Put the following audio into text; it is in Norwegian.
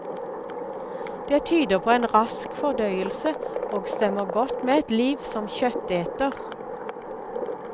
Det tyder på en rask fordøyelse, og stemmer godt med et liv som kjøtteter.